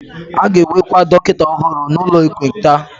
A ga-ewekwa dọkịta ọhụrụ n'ụlọ ekpenta.